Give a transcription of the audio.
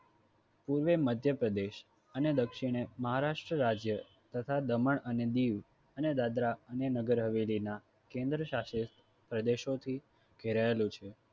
પૂર્વે મધ્ય પ્રદેશ અને દક્ષીણે મહારાષ્ટ્ર રાજ્ય તથા દમણ અને દીવ અને દાદરા અને નગર હવેલી ના કેન્દ્રશાસિત સે પ્રદેશોથી ઘેરાયેલું છે.